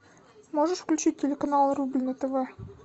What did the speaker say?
можешь включить телеканал рубль на тв